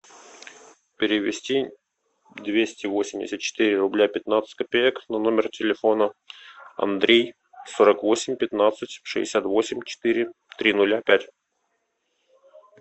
перевести двести восемьдесят четыре рубля пятнадцать копеек на номер телефона андрей сорок восемь пятнадцать шестьдесят восемь четыре три нуля пять